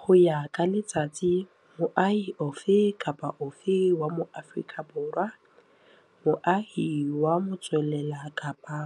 Ho ya ka Letsatsi, moahi ofe kapa ofe wa Moafrika Borwa, moahi wa moshwelella kapa